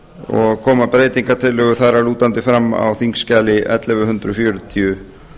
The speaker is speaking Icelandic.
og koma breytingartillögur þar að lútandi fram á þingskjali ellefu hundruð fjörutíu